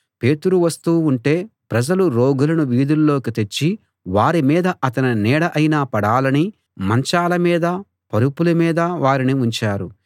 పేతురు వస్తూ ఉంటే ప్రజలు రోగులను వీధుల్లోకి తెచ్చి వారి మీద అతని నీడ అయినా పడాలని మంచాల మీదా పరుపుల మీదా వారిని ఉంచారు